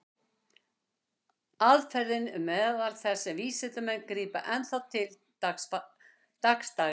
Aðferðin er meðal þess sem vísindamenn grípa enn þá til dagsdaglega.